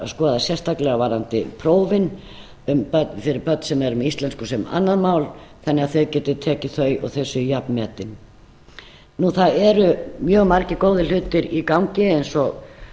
skoða sérstaklega varðandi prófin fyrir börn sem eru með íslensku sem annað mál þannig að þau geti tekið þau og þau séu jafnmetin það eru mjög margir góðir hlutir í gangi eins og